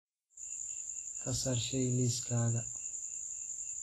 ka saar shay liiskayga